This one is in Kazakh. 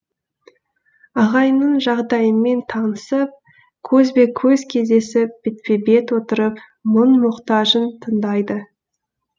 ағайынның жағдайымен танысып көзбе көз кездесіп бетпе бет отырып мұң мұқтажын тыңдайды